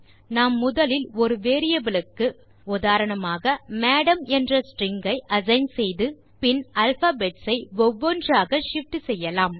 நாம் முதலில் ஒரு வேரியபிள் க்கு உதாரணமாக மடம் என்ற ஸ்ட்ரிங் ஐ அசைன் செய்து பின் ஆல்பாபெட்ஸ் ஐ ஒவ்வொன்றாக shift செய்யலாம்